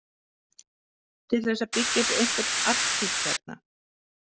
Til þess að byggja upp einhvern arkíf hérna.